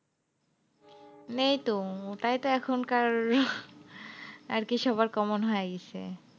নিই তো ওটাই তো এখনকার, আরকি সবার common হয়ে গেছে।